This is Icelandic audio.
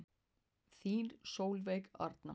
Þín Sólveig Arna.